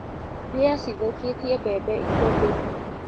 Mbĩa cithũkĩtie bembe ikũmbĩinĩ.